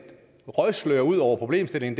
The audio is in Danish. røgslør ud over problemstillingen